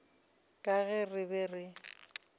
ka ge re be re